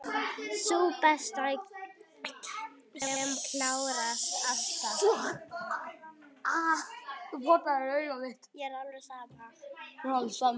Sú besta, sem klárast alltaf.